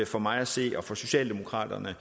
for mig at se og for socialemokraterne at